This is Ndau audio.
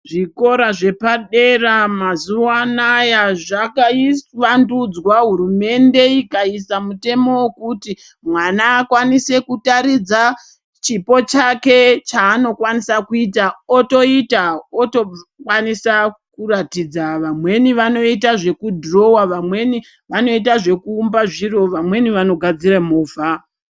Zvikora zvepadera mazuwanaya zvakawandudzwa, hurumende ikaisa mutemo wekuti mwana akwanise kutaridza chipo chake chaanokwanisa kuita otoita otokwanisa kuratidza, vamweni vanoita zvekudhirowa, vamweni vanoita zvekuumba zviro, vamweni vanogadzira movha.